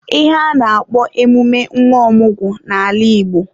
Ihe a na-akpo emume nwa ọmụgwọ n'ala Igbo.